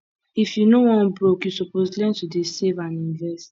if you no wan broke you suppose learn to dey save and invest